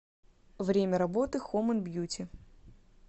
время работы хоум энд бьюти